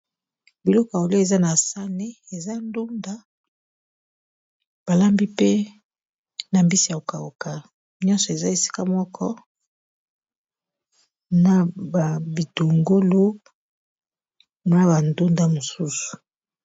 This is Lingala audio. biloko a olo eza na sane eza ndunda balambi pe na mbisi ya kokauka nyonso eza esika moko na babitungolo na bandunda mosusu